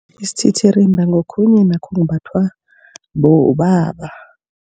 Isititirimba ngokhunye nakho okumbathwa bobaba.